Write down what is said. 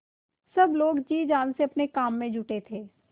सब लोग जी जान से अपने काम में जुटे थे